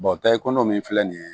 takuma min filɛ nin ye